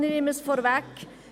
Ich nehme es vorweg: